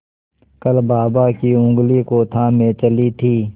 कल बाबा की ऊँगली को थामे चली थी